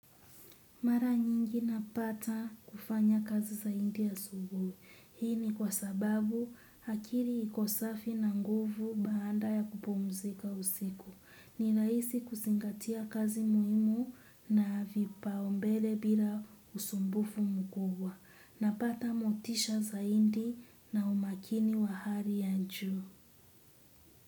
Mara nyingi napata kufanya kazi zaidi asubuhi. Hii ni kwa sababu akili iko safi na nguvu baada ya kupumzika usiku. Ni rahisi kuzingatia kazi muhimu na viipaumbele bila usumbufu mkubwa. Napata motisha zaidi na umakini wa hali ya juu.